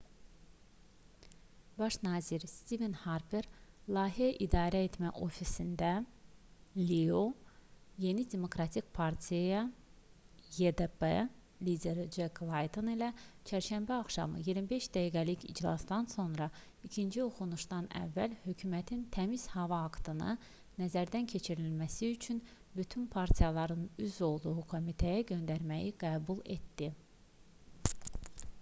baş nazir stiven harper layihə i̇darəetmə ofisində lio yeni demokratik partiya ydp lideri cek layton ilə çərşənbə axşamı 25 dəqiqəlik iclasdan sonra ikinci oxunuşdan əvvəl hökumətin təmiz hava aktını nəzərdən keçirilməsi üçün bütün partiyaların üzv olduğu komitəyə göndərməyi qəbul etdi